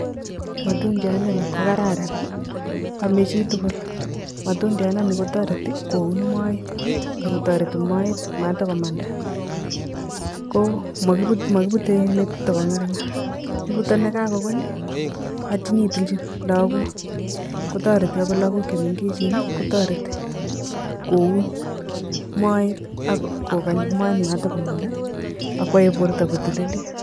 Matundyandani ko kararan, ame chitugul. Matundyandani ko toretoi koun moe ako toreti moet matukumanda. ko Makibute ni tokong'arng'ar. Kibute ne kakukuny atinyotilji lakok, ko toreti akot lakok che mengechen ko toreti koun moet akokany moet matokomang'da, akuae borta kotililit.